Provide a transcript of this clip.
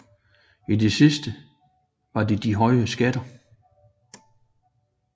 I det sidste var det de høje skatter